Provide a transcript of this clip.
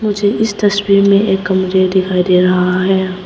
मुझे इस तस्वीर में एक कमरे दिखाई दे रहा है।